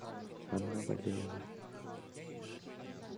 анна валеева